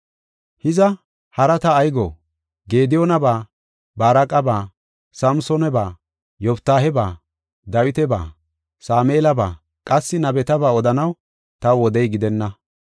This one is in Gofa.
Hiza, haraa ta ay go? Gediyoonaba, Baaraqaba, Samsoonaba, Yoftaaheba, Dawitaba, Sameelaba, qassi nabetaba odanaw taw wodey gidenna.